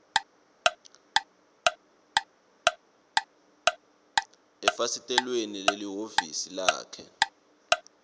efasitelweni lelihhovisi lakhe